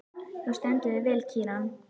Þú stendur þig vel, Kíran!